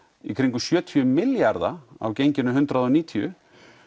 í kringum sjötíu milljarða á genginu hundrað og níutíu